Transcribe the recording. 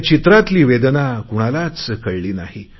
त्या चित्रातली वेदना कुणालाच कळली नाही